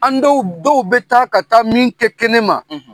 An dɔw, dɔw bɛ taa ka taa min kɛ kɛnɛ ma